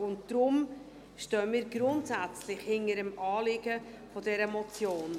Deshalb stehen wir grundsätzlich hinter dem Anliegen dieser Motion.